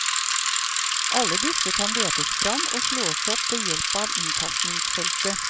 Alle disse kan letes fram og slås opp ved hjelp inntastningsfeltet.